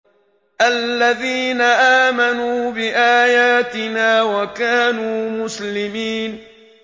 الَّذِينَ آمَنُوا بِآيَاتِنَا وَكَانُوا مُسْلِمِينَ